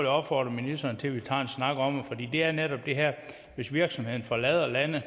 opfordre ministeren til at vi tager en snak om det er netop det her med at hvis virksomheden forlader landet